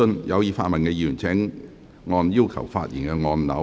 有意發問的議員請按"要求發言"按鈕。